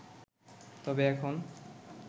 তবে এখন